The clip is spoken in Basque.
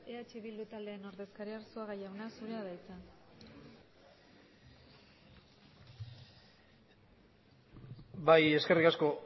eh bildu taldearen ordezkaria arzuaga jauna zurea da hitza bai eskerrik asko